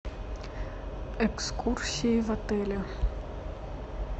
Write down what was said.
экскурсии в отеле